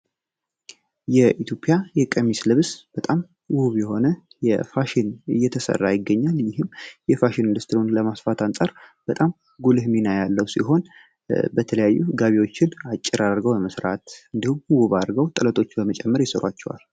የኢትዮጵያ የቀሚስ ልብስ በጣም ውብ በሆነ የፋሽን ልብስ እየተሰራ ይገኛል የፋሽን ኢንዱስትሪውን ለማስፋት አንጻር በጣም ጉልህ ሚና ያለው ሲሆን የተለያዩ ጋቢዎችን አጭር አርገው ውብ አድርጎ በመስራት ይሰሯቸዋል።